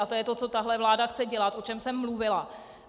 A to je to, co tato vláda chce dělat, o čem jsem mluvila.